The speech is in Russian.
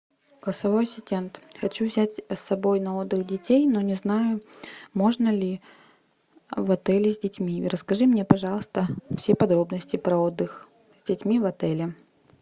голосовой ассистент хочу взять с собой на отдых детей но не знаю можно ли в отеле с детьми расскажи мне пожалуйста все подробности про отдых с детьми в отеле